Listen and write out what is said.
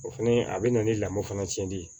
O fɛnɛ a be na ni lamɔ fana cɛnli ye